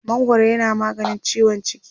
mangwaro yana maganin ciwon ciki